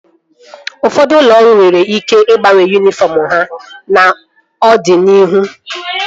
Ụfọdụ ụlọ ọrụ nwere ike ịgbanwe yunifọm ha n'ọdịnihu